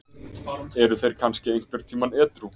Eru þeir kannski einhvern tímann edrú?